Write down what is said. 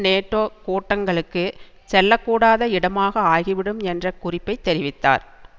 NATO கூட்டங்களுக்கு செல்ல கூடாத இடமாக ஆகிவிடும் என்ற குறிப்பைத் தெரிவித்தார்